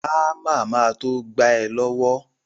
Ámà ma to gba ẹ lọ́wọ́